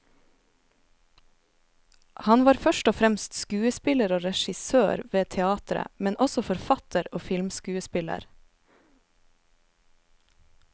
Han var først og fremst skuespiller og regissør ved teateret, men også forfatter og filmskuespiller.